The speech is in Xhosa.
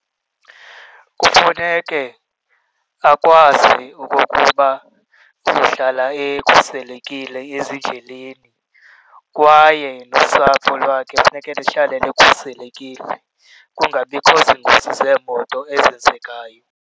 Kufuneke akwazi okokuba uzohlala ekhuselekile ezindleleni kwaye nosapho lwakhe kufuneka lihlale likhuselekile, kungabikho ziingozi zeemoto ezenzekayo.